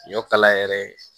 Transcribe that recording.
Ɲɔ kala yɛrɛ